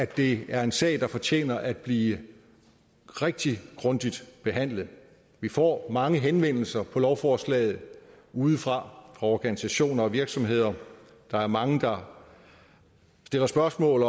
det er en sag der fortjener at blive rigtig grundigt behandlet vi får mange henvendelser på lovforslaget udefra fra organisationer og virksomheder der er mange der stiller spørgsmål